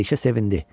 Məlikə sevindi.